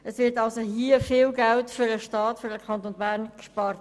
Es wird also hier viel Geld für den Kanton Bern gespart.